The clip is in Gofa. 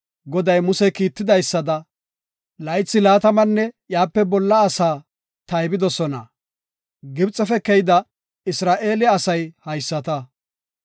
“Goday Muse kiitidaysada, laythi laatamanne iyape bolla gidida asaa taybidosona.” Gibxefe keyida Isra7eele asay haysata.